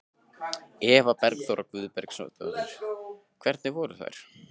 Eva Bergþóra Guðbergsdóttir: Hvernig voru þær?